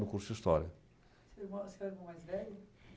no curso de história. Você é o irmão você é o irmão mais velho?